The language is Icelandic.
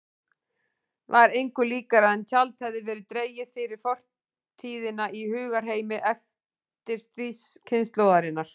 Var engu líkara en tjald hefði verið dregið fyrir fortíðina í hugarheimi eftirstríðskynslóðarinnar.